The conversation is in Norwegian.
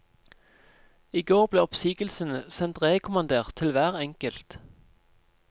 I går ble oppsigelsene sendt rekommandert til hver enkelt.